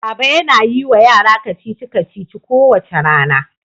Baba yana yi wa yara kacici-kacici kowace rana.